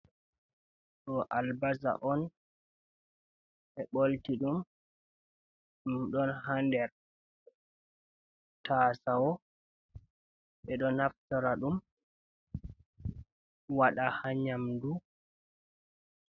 Ɗo albasa on ɓe bolti ɗum, ɗum ɗon ha nder tasawo, ɓe ɗo naftora ɗum waɗa ha nyamdu.